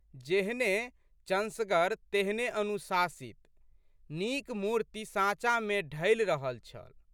जेहने चंसगर तेहने अनुशासित। नीक मूर्त्ति साँचामे ढलि रहल छल।